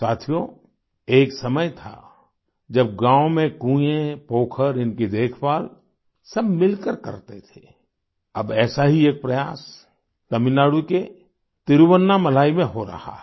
साथियो एक समय था जब गाँव में कुएं पोखर इनकी देखभाल सब मिलकर करते थे अब ऐसा ही एक प्रयास तमिलनाडु के तिरुवन्नामलाई में हो रहा है